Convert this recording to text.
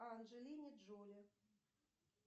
анджелине джоли